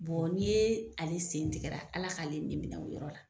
Bɔɔ n'i yee ale sen tigɛra Ala k'ale nin minɛ o yɔrɔ la.